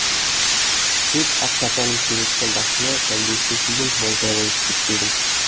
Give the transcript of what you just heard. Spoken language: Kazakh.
тек ақ шапанын сүйреткен басына сәлдесін киген молда болып кетпегін